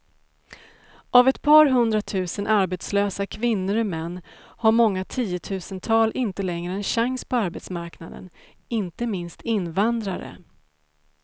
Av ett par hundratusen arbetslösa kvinnor och män har många tiotusental inte längre en chans på arbetsmarknaden, inte minst invandrare.